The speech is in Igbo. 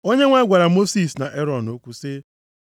Onyenwe anyị gwara Mosis na Erọn okwu sị,